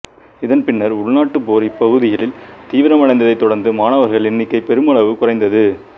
இதன் பின்னர் உள்நாட்டுப் போர் இப்பகுதிகளில் தீவிரம் அடைந்ததைத் தொடர்ந்து மணவர்கள் எண்ணிக்கை பெருமளவு குறைந்தது